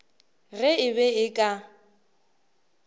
ge e be e ka